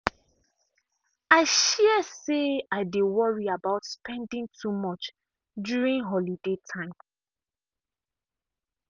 i share say i dey worry about spending too much during holiday time.